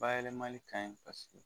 Bayɛlɛmali kaɲi